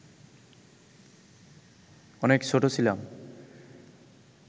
অনেক ছোট ছিলাম